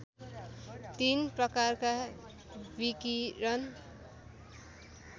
तीन प्रकारका विकिरण